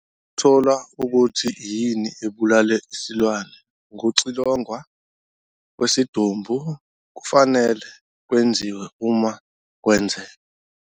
Ukuthola ukuthi yini ebulale isilwane, ukuxilongwa kwesidumbu kufanele kwenziwe uma kwenzeka.